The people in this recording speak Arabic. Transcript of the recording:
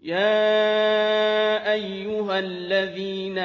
يَا أَيُّهَا الَّذِينَ